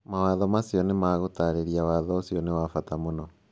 Mawatho macio nĩ ma gũtarĩria Watho ũcio nĩ wa bata mũno.